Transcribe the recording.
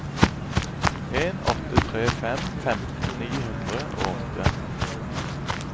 en åtte tre fem femten ni hundre og åtte